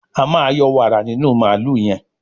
a ma yọ wààra nínú Mààlúù yen.